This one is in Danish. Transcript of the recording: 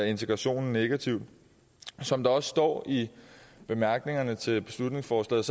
integrationen negativt som der også står i bemærkningerne til beslutningsforslaget